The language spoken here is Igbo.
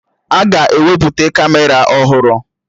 Aga ewepụta Kamera ọhụrụ